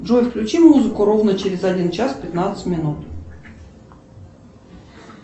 джой включи музыку ровно через один час пятнадцать минут